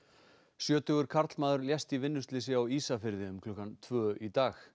sjötugur karlmaður lést í vinnuslysi á Ísafirði um klukkan tvö í dag